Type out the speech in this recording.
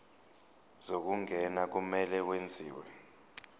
zokungena kumele kwenziwe